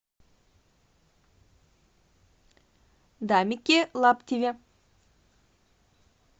дамике лаптеве